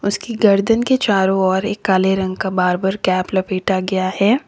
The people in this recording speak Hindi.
उसकी गर्दन के चारों ओर एक काले रंग का बारबर कैप लपेटा गया है।